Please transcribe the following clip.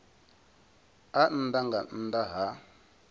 a nnḓa nga nnḓa ha